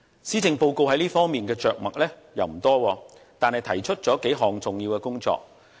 施政報告在這方面着墨不多，但仍提出了數項重要工作。